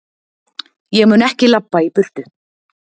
Ég mun ekki labba í burtu.